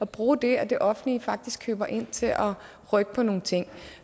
bruge det at det offentlige faktisk køber ind til at rykke på nogle ting